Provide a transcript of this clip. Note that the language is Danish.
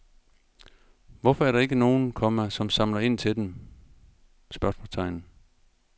Hvorfor er der ikke nogen, komma som samler ind til dem? spørgsmålstegn